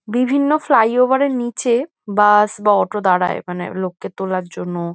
বিভিন্ন ফ্লাইওভার এর নিচে বাস বা অটো দাঁড়ায় মানে লোককে তোলার জন্য।